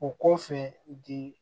O ko fɛ di